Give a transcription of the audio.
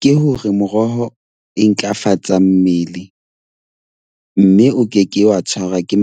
Ke hore moroho e ntlafatsa mmele mme o keke wa tshwarwa ke